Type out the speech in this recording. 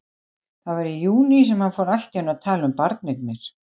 Það var í júní sem hann fór allt í einu að tala um barneignir.